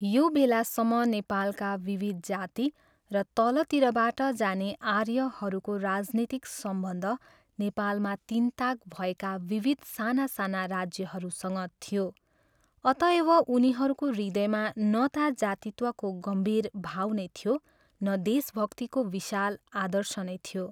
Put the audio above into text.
यो बेलासम्म नेपालका विविध जाति र तलतिरबाट जाने आर्यहरूको राजनीतिक सम्बन्ध नेपालमा तिनताक भएका विविध साना साना राज्यहरूसँग थियो, अतएव उनीहरूको हृदयमा न ता जातित्वको गम्भीर भाव नै थियो न देशभक्तिको विशाल आदर्श नै थियो।